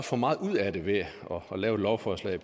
for meget ud af det ved at lave et lovforslag